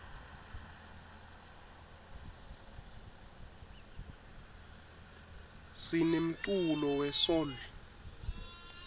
sinemculo we soul